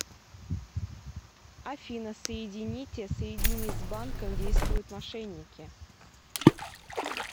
афина соедините соедини с банком действуют мошенники